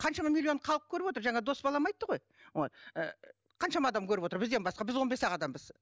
қаншама миллион халық көріп отыр жаңа дос балам айтты ғой вот ыыы қаншама адам көріп отыр бізден басқа біз он бес ақ адамбыз